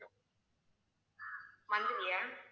monthly ஆ